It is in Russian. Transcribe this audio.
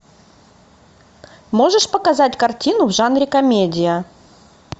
можешь показать картину в жанре комедия